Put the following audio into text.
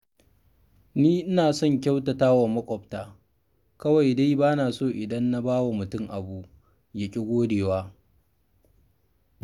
Ni ina son kyautata wa maƙwabta, kawai dai ba na so idan na ba wa mutum abu, ya ƙi godewa